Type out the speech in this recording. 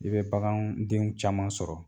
I bɛ bagaandenw caman sɔrɔ.